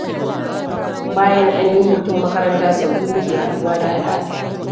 Bayan an yi hutun makaranta, sau biyu muke haɗuwa da Ali a sati.